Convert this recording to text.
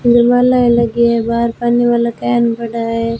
इधर मालाएं लगी हैं बाहर पानी वाला कैन पड़ा है।